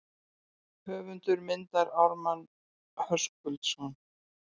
Höfundur myndar Ármann Höskuldsson.